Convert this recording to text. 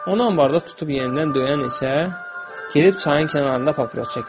Onu ambarda tutub yenidən döyən isə gedib çayın kənarında papiros çəkirdi.